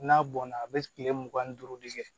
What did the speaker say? N'a bɔnna a be kile mugan ni duuru de kɛ